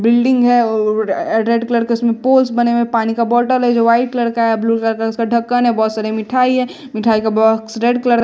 building है अ or red colour का उसमें पोज बने हुए पानी का बॉटल है जो व्हाइट कलर का है ब्लू कलर का उसका ढक्कन है बहोत सरे मिठाई हैं मिठाई का बॉक्स रेड कलर --